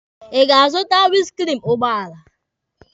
Ị ga-azụta winiskriini ụgbọala?